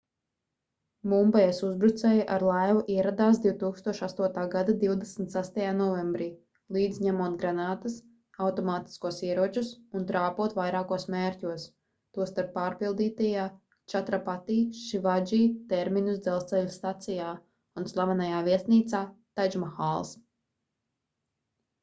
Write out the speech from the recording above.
mumbajas uzbrucēji ar laivu ieradās 2008. gada 26. novembrī līdzi ņemot granātas automātiskos ieročus un trāpot vairākos mērķos tostarp pārpildītajā čatrapati šivadži terminus dzelzceļa stacijā un slavenajā viesnīcā tadžmahāls